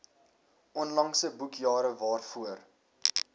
onlangse boekjare waarvoor